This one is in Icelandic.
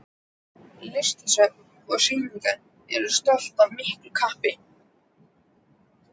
Listasöfn og sýningar eru sótt af miklu kappi.